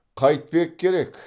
қайтпек керек